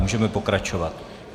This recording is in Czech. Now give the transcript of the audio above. Můžeme pokračovat.